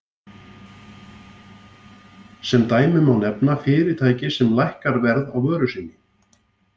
Sem dæmi má nefna fyrirtæki sem lækkar verð á vöru sinni.